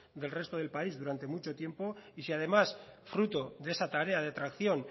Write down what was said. del resto del país durante mucho tiempo y si además fruto de esa tarea de tracción